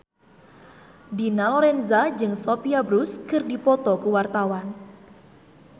Dina Lorenza jeung Sophia Bush keur dipoto ku wartawan